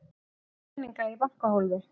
Með peninga í bankahólfi